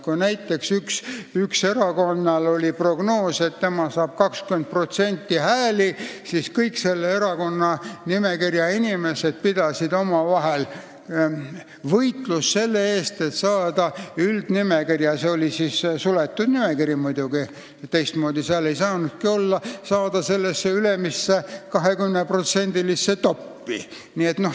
Kui näiteks ühel erakonnal oli prognoos, et tema saab 20% häältest, siis kõik selle erakonna inimesed pidasid omavahel võitlust, et saada üldnimekirja – see oli suletud nimekiri muidugi, teistmoodi seal ei saanudki olla – ülemisse 20%-lisse top'i.